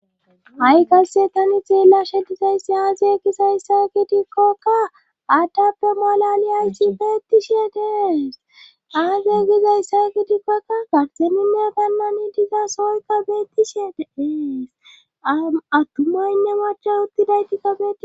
ha7i qasse tani xeella shedizayssi aaze gisayssa gidikkoka addappe malaliyaysi beettishe dees aagey gizayssa gidikkokka garxemime ganna ni diza sooykka beettishe eees attumayinne macha uttidayti kafei